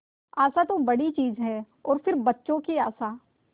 आशा तो बड़ी चीज है और फिर बच्चों की आशा